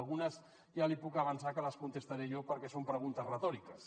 algunes ja li puc avançar que les contestaré jo perquè són preguntes retòriques